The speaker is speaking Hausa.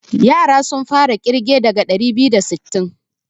Yaran sun fara ƙirge daga ɗari biyu da sittin.